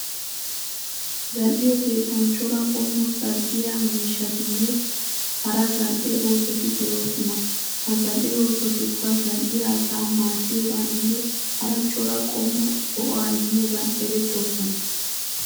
Zal'iyo keettan cora qommo zal'iya miishshatinne hara zal'e oosoti de'oosona. Ha zal'e oosotikka zal'iya asaa maaddiyogaaninne hara cora qommo go'aa immiyogan erettoosona.